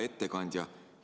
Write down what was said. Hea ettekandja!